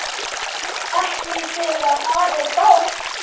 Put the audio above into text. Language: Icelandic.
Ekki þegar að er gáð.